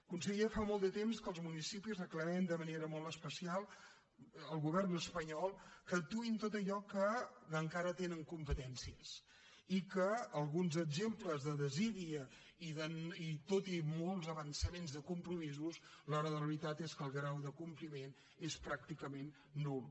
conseller fa molt de temps que els municipis reclamem de manera molt especial al govern espanyol que actuï en tot allò en què encara tenen competències i que alguns exemples de desídia i tot i molts avançaments de compromisos a l’hora de la veritat és que el grau de compliment és pràcticament nul